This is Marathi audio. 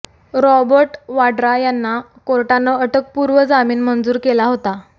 रॉबर्ट वाड्रा यांना कोर्टानं अटकपूर्व जामीन मंजूर केला होता